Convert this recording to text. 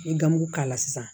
N ye gamugu k'a la sisan